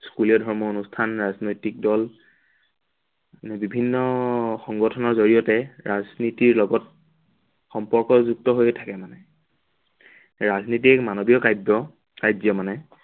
school ধৰ্মীয় অনুষ্ঠান, ৰাজনৈতিক দল মানে বিভিন্ন সংগঠনৰ জড়িয়তে ৰাজনীতিৰ লগত সম্পৰ্কযুক্ত হৈ থাকে মানে। ৰাজনীতি এক মানৱীয় কাব্য়, কাৰ্য্য় মানে